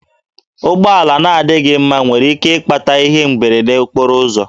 Ụgbọala na-adịghị mma nwere ike ịkpata ihe mberede okporo ụzọ